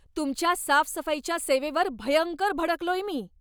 तुमच्या साफसफाईच्या सेवेवर भयंकर भडकलोय मी.